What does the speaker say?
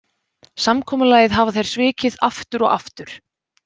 Samkomulagið hafa þeir svikið aftur og aftur.